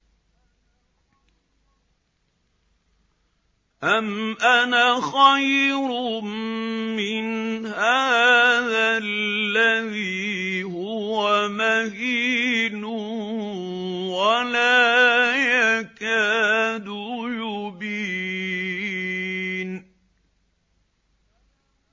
أَمْ أَنَا خَيْرٌ مِّنْ هَٰذَا الَّذِي هُوَ مَهِينٌ وَلَا يَكَادُ يُبِينُ